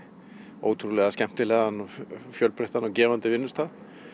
ótrúlega skemmtilegan fjölbreyttan og gefandi vinnustað